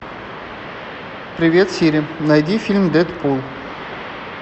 привет сири найди фильм дэдпул